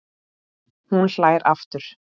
Hún hlær aftur.